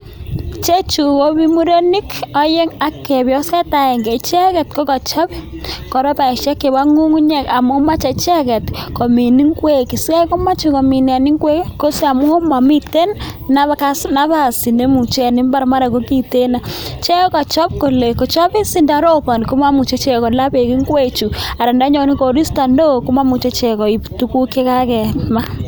Ichechu komi murenik oeng'u ak chepyoset agenge ,icheget kokachop koropaisiek chebo ng'ung'unyek amun moche icheget komin ngwek, sikaikomoche komin ngwek kotamun momiten napas en mbaar mara kokiten. Kochop kole sindoroponi komomuche kola beek ngwek chu ana ndo nyone koristo neo komomuche ichek koib tuguk chakakemin.